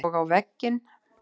Og á vegginn.